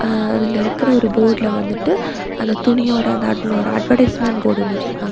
அஅஅ அதுல இருக்கற ஒரு போர்டுல வந்துட்டு அந்தத் துணியோட அந்த ஆட் ளோட அட்வைஸ்மென்ட் போர்டு ஒன்னு வெச்சுருக்காங்க.